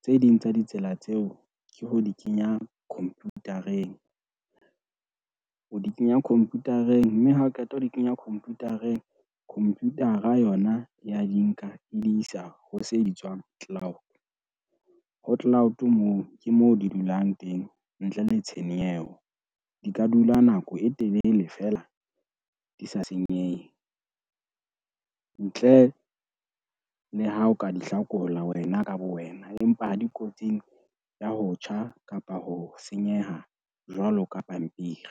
tse ding tsa ditsela tseo ke ho di kenya computer-eng. O di kenya computer-eng, mme hao qeta ho di kenya computer-eng, computer-a yona ya di nka e di isa ho se bitswang cloud. Ho cloud moo ke mo di dulang teng ntle le tshenyeho, di ka dula nako e telele fela di sa senyehe, ntle le ha o ka di hlakola wena ka bo wena, empa ha di kotsing ya ho tjha kapa ho senyeha jwalo ka pampiri.